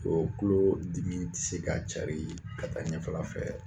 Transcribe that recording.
O kulo dimi ti se k'a cari ka taa ɲɛfɛla fɛ